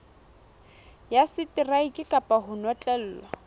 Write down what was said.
ya seteraeke kapa ho notlellwa